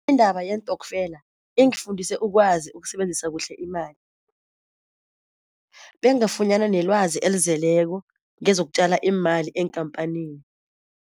Indaba yeentoskfela ingifundise ukwazi ukusebenzisa kuhle imali, bengafunyana nelwazi elizeleko ngezokutjala imali eenkampanini.